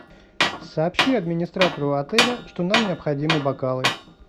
сообщи администратору отеля что нам необходимы бокалы